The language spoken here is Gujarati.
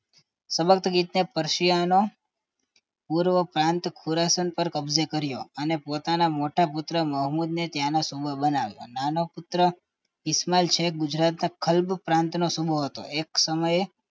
સબકતગીન પશિયાનો પૂર્વ પ્રાંત પૂરાસન પણ કબજે કર્યોઅને પોતાના મોટા પુત્ર મોહમ્મદ ને ત્યાંનો સુમેર બનાવ્યું નાનો પુત્ર ઈશમાલ છે ગુજરાતના ખલબ પ્રાંત નો સુમેર હતો એક સમયે